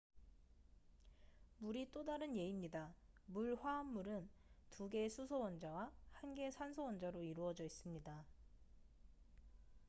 물이 또 다른 예입니다 물 화합물은 2개의 수소 원자와 1개의 산소 원자로 이루어져 있습니다